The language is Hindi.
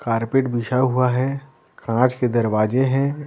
कारपेट बिछा हुआ है काँच के दरवाजे हैं।